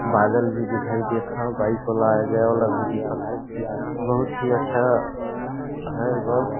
बादल भी दिखाई देत ह बाइक वाला आये जेए वाला भी दिखत ह बहुत ही अच्छा है बस। .